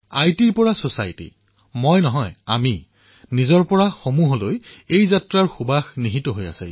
আইটিৰ পৰা সমাজ মইৰ পৰা আমি অহমৰ পৰা বয়ম স্বৰ পৰা সমষ্টিলৈ যাত্ৰা ইয়াত অন্তৰ্ভুক্ত কৰা হৈছে